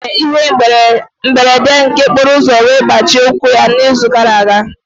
Ọ nwere ihe mberede nke okporoụzọ wee gbajie ụkwụ ya n'izu gara aga.